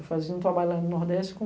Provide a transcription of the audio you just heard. Eu fazia um trabalho lá no Nordeste com